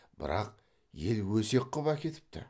бірақ ел өсек қып әкетіпті